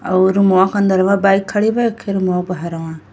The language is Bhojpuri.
और रूमवा के अंदरवां बाइक खड़ी बा एक ठे रूमवा के बहरवा --